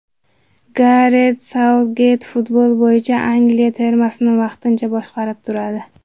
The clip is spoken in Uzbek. Garet Sautgeyt futbol bo‘yicha Angliya termasini vaqtincha boshqarib turadi.